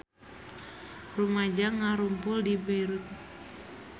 Rumaja ngarumpul di Beirut